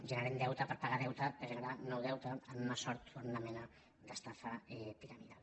generem deute per pagar deute que generarà nou deute en una sort o en una mena d’estafa piramidal